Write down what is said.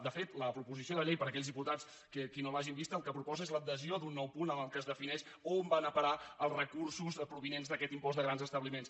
de fet la proposició de llei per a aquells diputats que no l’hagin vista el que proposa és l’adhesió d’un nou punt en el qual es defineix on van a parar els recursos provinents d’aquest impost de grans establiments